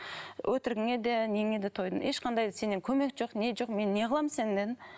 өтірігіңе де неңе де тойдым ешқандай сеннен көмек жоқ не жоқ мен не қыламын сені дедім